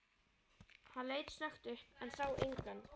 Hann leit snöggt upp, en sá engan.